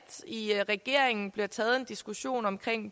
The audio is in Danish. i regeringen bliver taget en diskussion om